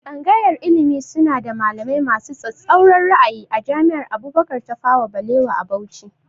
Tsangayar ilimi suna da malamai masu tsatsauran ra'ayi a jami'ar Abubakar Tafawa Balewa a Bauchi